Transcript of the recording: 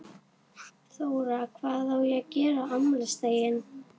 Þóra: Hvað á að gera á afmælisdaginn?